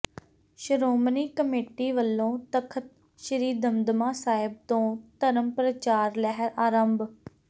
Shiromani committee ਵੱਲੋਂ ਤਖ਼ਤ ਸ੍ਰੀ ਦਮਦਮਾ ਸਾਹਿਬ ਤੋਂ ਧਰਮ ਪ੍ਰਚਾਰ ਲਹਿਰ ਆਰੰਭ